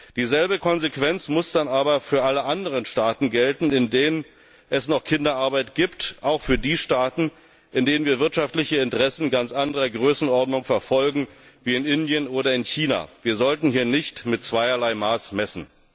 Dieselbe Konsequenz muss dann aber für alle anderen Staaten gelten, in denen es noch Kinderarbeit gibt, auch für die Staaten, in denen wir wirtschaftliche Interessen ganz anderer Größenordnung verfolgen, wie Indien oder China. Wir sollten hier nicht mit zweierlei Maß messen!